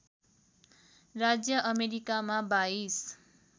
राज्य अमेरिकामा २२